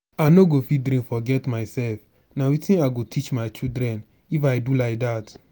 i no go fit drink forget myself na wetin i go teach my children if i do like dat?